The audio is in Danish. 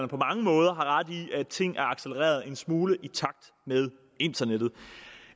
på mange måder har ret i at ting er accelereret en smule i takt med internettet